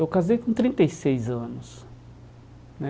Eu casei com trinta e seis anos né.